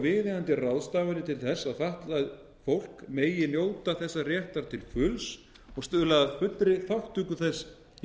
viðeigandi ráðstafanir til að fatlað fólk megi njóta þessar réttar til fulls og stuðla að fullri þátttöku þess í